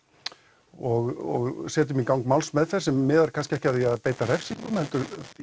og setjum í gang málsmeðferð sem miðar kannski ekki að því að beita refsingum heldur